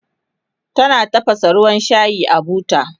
tana tafasa ruwan shayi a buta